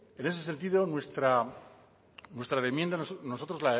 en ese sentido nuestra enmienda nosotros